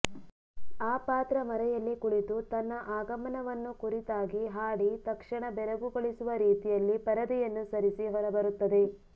ಆ ಪಾತ್ರ ಮರೆಯಲ್ಲಿ ಕುಳಿತು ತನ್ನ ಆಗಮನವನ್ನು ಕುರಿತಾಗಿ ಹಾಡಿ ತಕ್ಷಣ ಬೆರಗುಗೊಳಿಸುವ ರೀತಿಯಲ್ಲಿ ಪರದೆಯನ್ನು ಸರಿಸಿ ಹೊರಬರುತ್ತದೆ